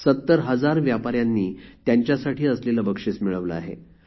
७० हजार व्यापाऱ्यांनी त्यांच्यासाठी असलेले बक्षिस मिळवले आहे